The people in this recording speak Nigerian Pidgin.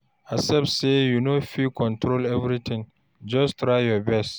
Accept say you no fit control everything, just try your best.